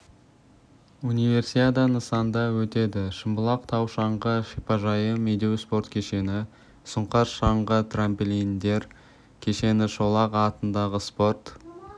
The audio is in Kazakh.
универсиада нысанда өтеді шымбұлақ тау-шаңғы шипажайы медеу спорт кешені сұңқар шаңғы трамплиндер кешені шолақ атындағы спорт